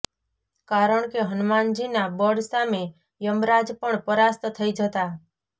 કારણ કે હનુમાનજીના બળ સામે યમરાજ પણ પરાસ્ત થઈ જતા